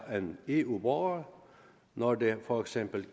end eu borgere når det for eksempel